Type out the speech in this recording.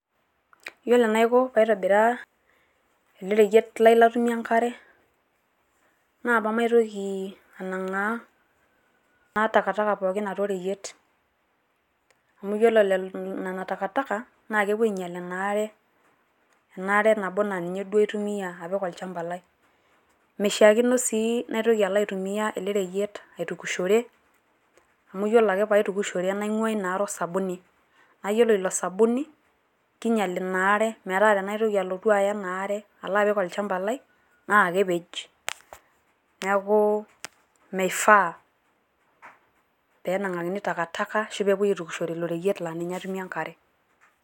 Yiolo enaiko paitobiraa ele reyiet lai latumie enkare, na pamaitoki anang'aa entakataka pooki atua oreyiet. Amu ore nena takataka, na kepuo ainyal inaare, enaare nabo na ninye duo aitumia apik olchamba lai. Mishaakino si naitoki alo aitumia elereyiet aitukushore, amu yiolo ake paitukushore naing'ua inaare osabuni. Na yiolo ilosabuni, kinyal inaare metaa tenaitoki alotu aya inaare alo apik olchamba lai, na kepej. Neeku meifaa penang'akini takataka ashu pepoi aitukushore ilo reyiet la ninye atumie enkare.